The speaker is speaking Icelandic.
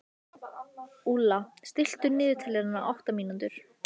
Úlla, stilltu niðurteljara á áttatíu mínútur.